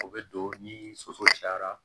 O bɛ don ni soso cayara